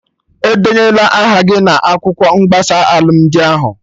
Edenyena aha gị na akwụkwọ mgbasa alụmdi ahụ!